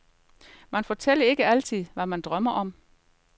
Man fortæller ikke altid, hvad man drømmer om.